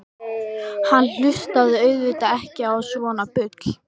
Hann hlustaði auðvitað ekki á svona bull.